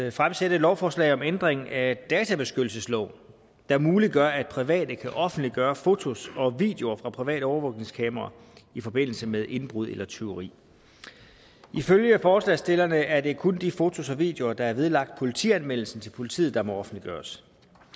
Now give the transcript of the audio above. at fremsætte et lovforslag om ændring af databeskyttelsesloven der muliggør at private kan offentliggøre fotos og videoer fra private overvågningskameraer i forbindelse med indbrud eller tyveri ifølge forslagsstillerne er det kun de fotos og videoer der er vedlagt politianmeldelsen til politiet der må offentliggøres